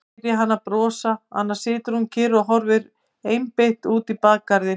Ég heyri hana brosa, annars situr hún kyrr og horfir einbeitt út í bakgarðinn.